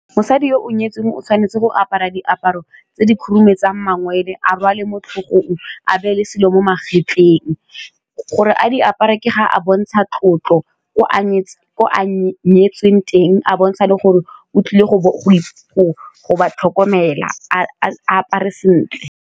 Mosadi yo o nyetsweng o tshwanetse go apara diaparo tse di khurumetsa mangwele a rwale mo tlhogong a beele selo mo magetleng, gore a di apara ke ga a bontsha tlotlo ko a nyetsweng teng a bontsha le gore o tlile go ba tlhokomela a apare sentle.